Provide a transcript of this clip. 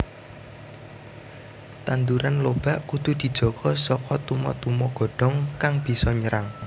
Tanduran lobak kudu dijaga saka tuma tuma godhong kang bisa nyerang